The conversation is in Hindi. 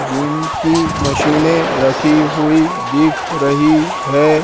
जिम की मशीने रखी हुई दिख रही है।